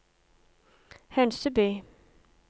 Hønseby